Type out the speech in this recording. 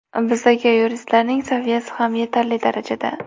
Bizdagi yuristlarning saviyasi ham yetarli darajada.